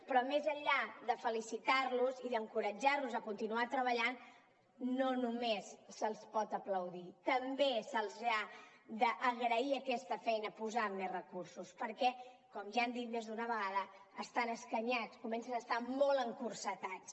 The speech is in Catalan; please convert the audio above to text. però més enllà de felicitar los i d’encoratjar los a continuar treballant no només se’ls pot aplaudir també se’ls ha d’agrair aquesta feina posant hi més recursos perquè com ja hem dit més d’una vegada estan escanyats comencen a estar molt encotillats